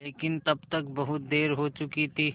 लेकिन तब तक बहुत देर हो चुकी थी